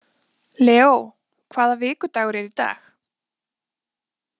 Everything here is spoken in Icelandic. Leo, hvaða vikudagur er í dag?